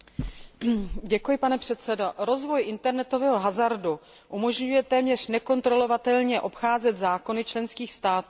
Rozvoj internetového hazardu umožňuje téměř nekontrolovatelně obcházet zákony členských států a praní špinavých peněz.